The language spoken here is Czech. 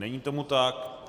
Není tomu tak.